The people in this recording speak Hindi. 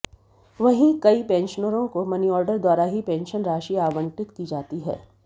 वहीं कई पेंशनरों को मनीऑर्डर द्वारा ही पेंशन राशि आबंटित की जाती है